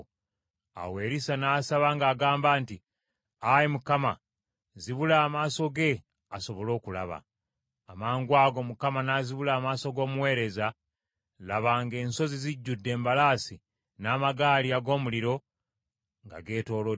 Awo Erisa n’asaba ng’agamba nti, “Ayi Mukama , zibula amaaso ge asobole okulaba.” Amangwago Mukama n’azibula amaaso ag’omuweereza, laba ng’ensozi zijjudde embalaasi n’amagaali ag’omuliro nga geetoolodde Erisa.